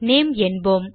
name என்போம்